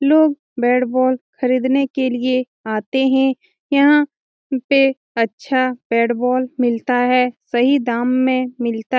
लोग bat ball खरीदने के लिए आते हैं | यहाँ पे अच्छा बेट बॉल मिलता हैं सही दाम में मिलता हैं ।